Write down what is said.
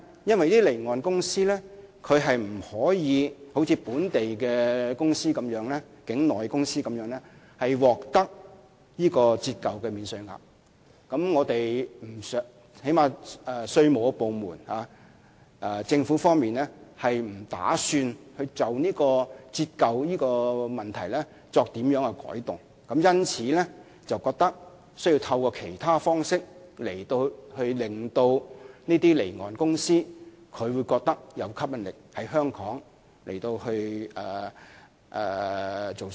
因為該等公司不可像從事境內飛機租賃活動的公司般享有折舊的免稅額，而政府部門不打算就折舊的問題作出改動，因此，政府認為需要透過其他方式，吸引該等公司在香港經營飛機租賃業務。